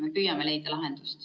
Me püüame leida lahendust.